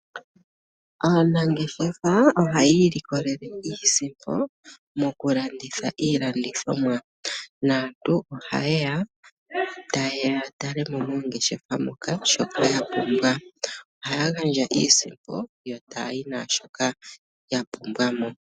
Aanangeshefa ohaya ilikolele iisimpo mokulanditha iilandithomwa, naantu ohaye ya taye ya ya tale mo mongeshefa moka shoka ya pumbwa. Ohaya gandja iisimpo yo taya yi naashoka ya pumbwa mo.